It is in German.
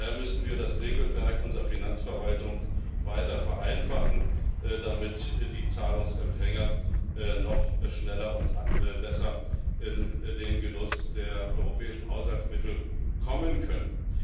Daher müssen wir das Regelwerk unserer Finanzverwaltung weiter vereinfachen, damit die Zahlungsempfänger noch schneller und besser in den Genuss der europäischen Haushaltsmittel kommen können.